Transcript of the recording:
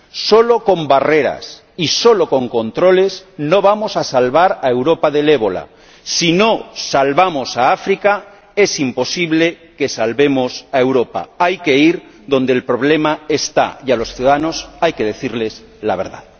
Solo con barreras y con controles no vamos a salvar a Europa del ébola. Si no salvamos a África, es imposible que salvemos a Europa hay que ir donde el problema está, y a los ciudadanos hay que decirles la verdad.